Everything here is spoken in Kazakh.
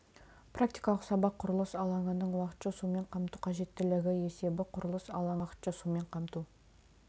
практикалық сабақ құрылыс алаңының уақытша сумен қамту қажеттілігі есебі құрылыс алаңының уақытша сумен қамту